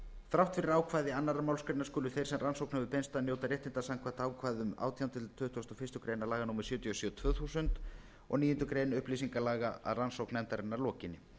þrátt fyrir ákvæði annarrar málsgreinar skulu þeir sem rannsókn hefur beinst að njóta réttinda samkvæmt ákvæðum átjánda til tuttugasta og fyrstu grein laga númer sjötíu og sjö tvö þúsund og níundu grein upplýsingalaga að rannsókn nefndarinnar lokinni